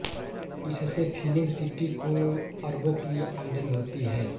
इससे film city को अरबों की आमदनी होती है